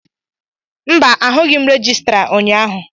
mba, ahụghị m rejistra ụnyahụ